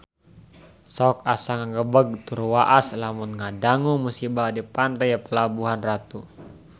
Sok asa ngagebeg tur waas lamun ngadangu musibah di Pantai Pelabuhan Ratu